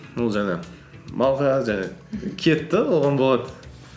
ол жаңағы малға жаңағы киеді де оған болады